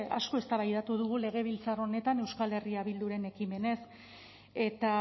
asko eztabaidatu dugu legebiltzar honetan euskal herria bilduren ekimenez eta